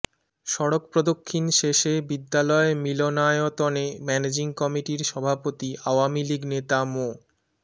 সড়ক প্রদক্ষিণ শেষে বিদ্যালয় মিলনায়তনে ম্যানেজিং কমিটির সভাপতি আওয়ামী লীগ নেতা মো